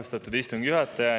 Austatud istungi juhataja!